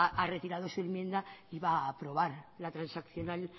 ha retirado su enmienda y va a aprobar la transaccional